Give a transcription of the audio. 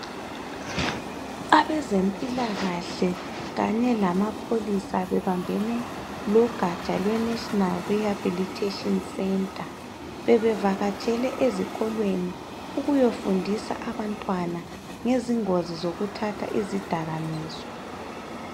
Abezempilakahle kanye lamapholisa bebambene logatsha lweNational Rehabilitation Center bebevakatshele ezikolweni ukuyofundisa abantwana ngezingozi zokuthatha izidakaminzwa.